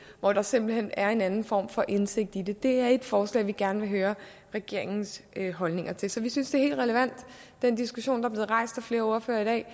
hvor der simpelt hen er en anden form for indsigt i det det er et forslag vi gerne vil høre regeringens holdninger til så vi synes at den diskussion der er blevet rejst af flere ordførere i dag